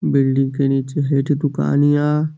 building के नीचे हइजे दुकान या --